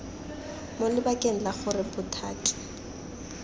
mo lebakeng la gore bothati